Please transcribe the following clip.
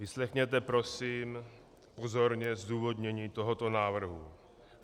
Vyslechněte prosím pozorně zdůvodnění tohoto návrhu.